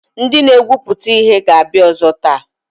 Ndị na-egwupụta ihe ga-abịa ọzọ taa.